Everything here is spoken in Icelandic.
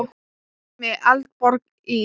Dæmi: Eldborg í